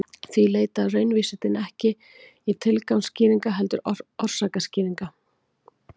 því leita raunvísindin ekki tilgangsskýringa heldur orsakaskýringa